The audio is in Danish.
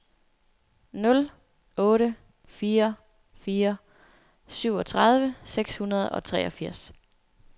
nul otte fire fire syvogtredive seks hundrede og treogfirs